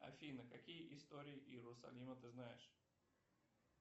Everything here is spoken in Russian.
афина какие истории иерусалима ты знаешь